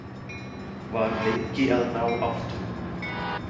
Var lengi að ná áttum.